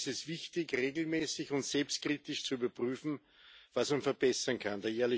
Deshalb ist es wichtig, regelmäßig und selbstkritisch zu überprüfen, was man verbessern kann.